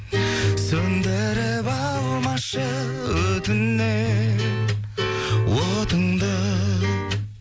сөндіріп алмашы өтінем отыңды